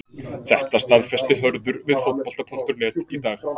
Þetta staðfesti Hörður við Fótbolta.net í dag.